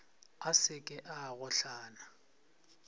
a se ke a gohlana